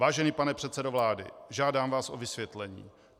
Vážený pane předsedo vlády, žádám vás o vysvětlení.